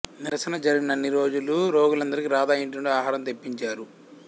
నిరసన జరిగినన్ని రోజులు రోగులందరికి రాధ ఇంటినుండి ఆహారం తెప్పించారు